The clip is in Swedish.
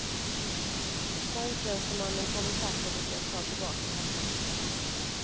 Banktjänstemannen kom i fatt och lyckades ta tillbaka papperet.